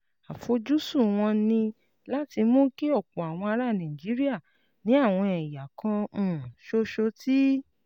Àfojúsùn wọn ni láti mú kí ọ̀pọ̀ àwọn ará Nàìjíríà ní àwọn ẹ̀yà kan um ṣoṣo tí